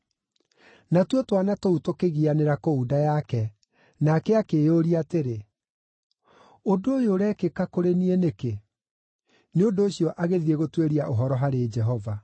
Natuo twana tũu tũkĩgianĩra kũu nda yake, nake akĩĩyũria atĩrĩ, “Ũndũ ũyũ ũrekĩka kũrĩ niĩ nĩkĩ?” Nĩ ũndũ ũcio agĩthiĩ gũtuĩria ũhoro harĩ Jehova.